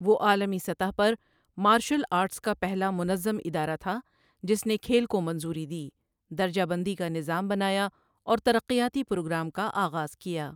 وہ عالمی سطح پر مارشل آرٹس کا پہلا منظم ادارہ تھا جس نے کھیل کو منظوری دی، درجہ بندی کا نظام بنایا، اور ترقیاتی پروگرام کا آغاز کیا۔